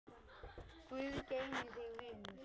Guð geymi þig, vinur.